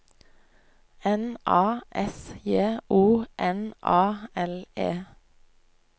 N A S J O N A L E